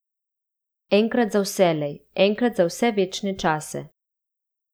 Enkrat za vselej, enkrat za vse večne čase.